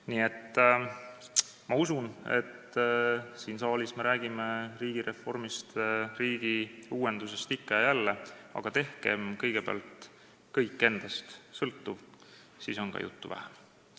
Nii et ma usun, et siin saalis me räägime riigireformist ja riigiuuendusest ikka ja jälle, aga tehkem kõigepealt kõik endast sõltuv, siis on ka juttu vähem.